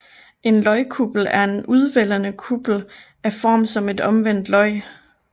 En løgkuppel er en udvældende kuppel af form som et omvendt løg